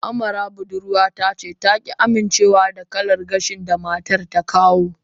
Amara budurwata ta ki amincewa da kalar gashin da matar ta kawo